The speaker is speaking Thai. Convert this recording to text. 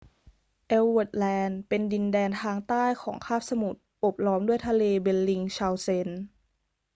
เอลส์เวิร์ธแลนด์ เป็นดินแดนทางใต้ของคาบสมุทร โอบล้อมด้วยทะเลเบลลิงเชาเซน